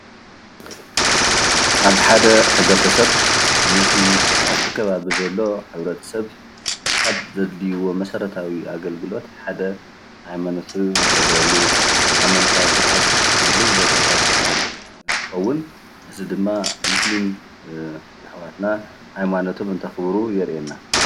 ኣብ ሓደ ሕብረ ተሰብ ነቲ ኣብቲ ከባቢ ዘሎ ሕብረተሰብ ካብ ዘድልይዎ መሰረታዊ አገልግሎት ሓደ ሃይማኖት ዘክብረሉ ሃይማኖታዊ ስርዓት ዝፍፀመሉ ቦታታት እንትከውን እዚ ድማ ሞስሊም ኣሕዋትና ሃይማኖቶም እንተክብሩ የርኢየና፡፡